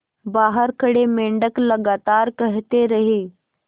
बाहर खड़े मेंढक लगातार कहते रहे